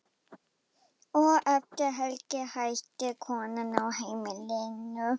Og eftir helgi hætti konan á heimilinu.